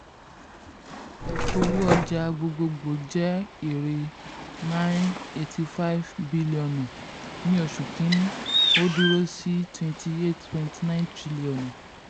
owó ọjà gbogboògbò jẹ èrè nine hundred eighty five bílíọ̀nù ní oṣù kìíní ó dúró sí twenty eight point nine triliọ̀nù.